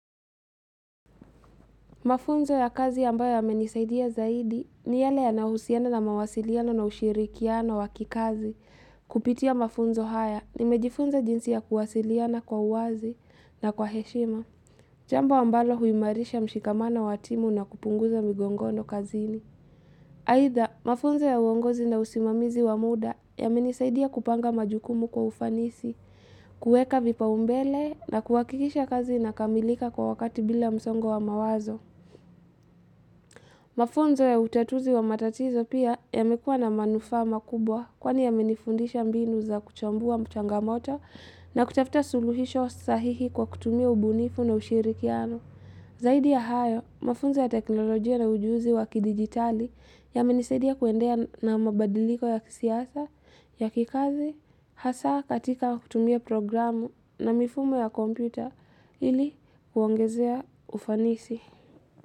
Mafunzo ya kazi ambayo yamenisaidia zaidi ni yale yanahusiana na mawasiliano na ushirikiano wa kikazi kupitia mafunzo haya nimejifunza jinsi ya kuwasiliana kwa uwazi na kwa heshima. Jambo ambalo huimarisha mshikamano wa timu na kupunguza migongono kazini. Aitha, mafunzo ya uongozi na usimamizi wa muda yamenisaidia kupanga majukumu kwa ufanisi, kueka vipao umbele na kuhakikisha kazi linakamilika kwa wakati bila msongo wa mawazo. Mafunzo ya utatuzi wa matatizo pia yamekua na manufaa makubwa kwani yamenifundisha mbinu za kuchambua mchangamoto na kutafuta suluhisho sahihi kwa kutumia ubunifu na ushirikiano. Zaidi ya hayo, mafunzo ya teknolojia na ujuzi wa kidijitali yamenisadia kuendea na mabadiliko ya kisiasa, ya kikazi, hasa katika kutumia programu na mifumo ya kompyuta ili kuongezea ufanisi.